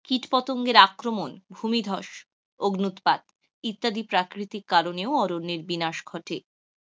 কীটপঙ্গের আক্রমন ভুমিধ্বস ও অগ্ন্যুৎপাত ইত্যাদি প্রাকৃতিক কারণেও অরণ্যের বিনাশ ঘটে. অরণ্যের বিনাশের কারণ গুলি হল প্রাকৃতিক এবং মনুষ্য সৃষ্ট.